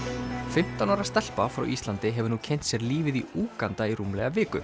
fimmtán ára stelpa frá Íslandi hefur nú kynnt sér lífið í Úganda í rúmlega viku